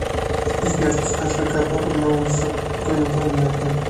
сбер подскажи какая погода на улице а то непонятно